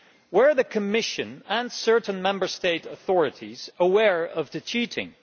Were the Commission and certain Member State authorities aware of the cheating?